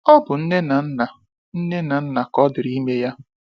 Ọ bụ nne na nna nne na nna ka ọ dịrị ime ya.